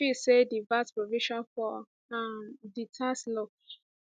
we feel say di vat provision for um di tax law